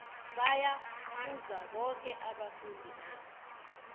baya phuza boke abafundi na